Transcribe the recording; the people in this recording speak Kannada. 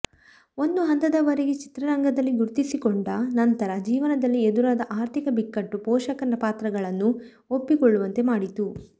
ಒಂದು ಹಂತದವರೆಗೆ ಚಿತ್ರರಂಗದಲ್ಲಿ ಗುರುತಿಸಿಕೊಂಡ ನಂತರ ಜೀವನದಲ್ಲಿ ಎದುರಾದ ಆರ್ಥಿಕ ಬಿಕ್ಕಟ್ಟು ಪೋಷಕ ಪಾತ್ರಗಳನ್ನು ಒಪ್ಪಿಕೊಳ್ಳುವಂತೆ ಮಾಡಿತು